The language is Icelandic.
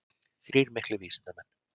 Þrír miklir vísindamenn.